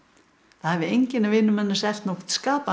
það hafi enginn af vinum hennar selt nokkurn skapaðan